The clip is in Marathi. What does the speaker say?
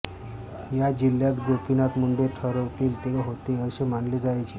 या जिल्ह्यात गोपीनाथ मुंडे ठरवतील ते होते असे मानले जायचे